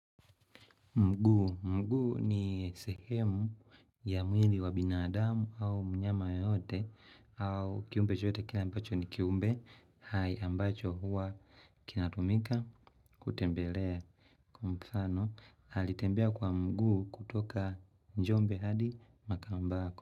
Mguu. Mguu ni sehemu ya mwili wa binadamu au mnyama yeyote au kiumbe chote kila ambacho ni kiumbe. Hai ambacho huwa kinatumika kutembelea. Kwa mfano, alitembea kwa mguu kutoka njombe hadi makambako.